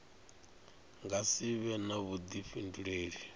nga si vhe na vhuḓifhinduleli